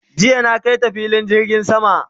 jiya na kaita filin jirgin sama